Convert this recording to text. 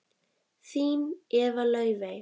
Þín Eva Laufey.